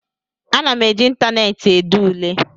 Ana m eji ịntaneetị ede ule